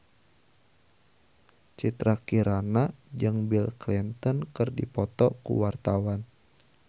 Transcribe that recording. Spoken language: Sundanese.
Citra Kirana jeung Bill Clinton keur dipoto ku wartawan